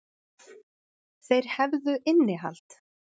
Þeir hefðu innihald.